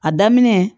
A daminɛ